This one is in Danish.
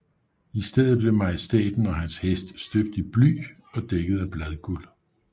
I stedet blev majestæten og hans hest støbt i bly og dækket af bladguld